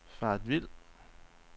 faret vild